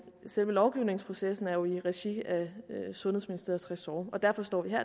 selve lovgivningsprocessen er jo i regi af sundhedsministeriets ressort og derfor står vi her